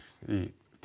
í